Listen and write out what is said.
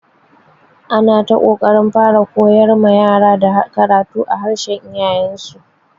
Ana ta ƙoƙarin fara koyar ma yara da karatu a harshen iyayen su.